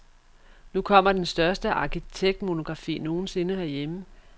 Nu kommer den største arkitektmonografi nogen sinde herhjemme.